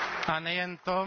A nejen to.